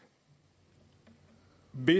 vi